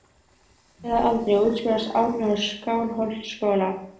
Tvítugur að aldri útskrifaðist Árni úr Skálholtsskóla.